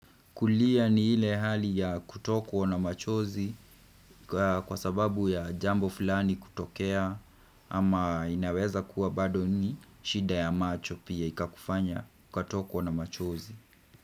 Kulia ni ile hali ya kutokwa na machozi kwa sababu ya jambo fulani kutokea ama inaweza kuwa bado ni shida ya macho pia ikakufanya kutokwa na machozi.